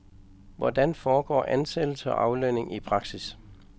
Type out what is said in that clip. Hvordan foregår ansættelse og aflønning i praksis?